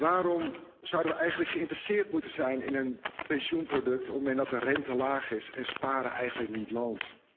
Waarom zouden we eigenlijk geïnteresseerd moeten zijn in een pensioenproduct op een moment dat de rente laag is en sparen eigenlijk niet loont?